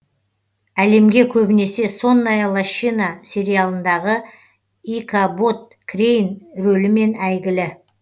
әлемге көбінесе сонная лощина сериалындағы икабод крейн рөлімен әйгілі